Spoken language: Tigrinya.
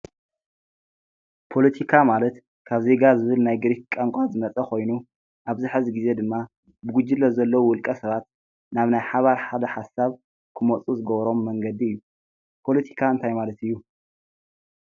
ፖለቲካ ማለት ካብ ዜጋ ዝብል ናይ ግሪክ ቋንቋ ዝመፀ ኮይኑ ኣብዚ ሕዚ ግዜ ድማ ብጉጅለ ዘለው ብውልቀ ሰባት ናብ ናይ ሓባር ሓሳብ ክመፁ ዝገብሮም መንገዲ እዩ። ፓለቲካ እንታይ ማለት እዩ?